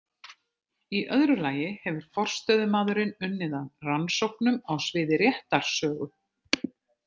Í öðru lagi hefur forstöðumaðurinn unnið að rannsóknum á sviði réttarsögu.